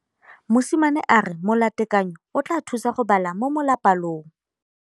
Mosimane a re molatekanyô o tla mo thusa go bala mo molapalong.